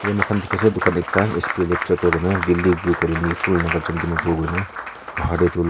ede moikhan dikhi ase dukaan ekta S_P electrical koi na valley view colony full nagarjan dimapur koi na bahar de tu--